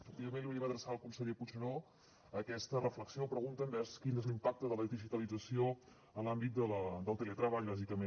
efectivament li volíem adreçar al conseller puigneró aquesta reflexió o pregunta envers quin és l’impacte de la digitalització en l’àmbit del teletreball bàsicament